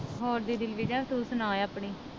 ਹੋਰ ਤੂੰ ਸਨਾ ਆਪਣੀ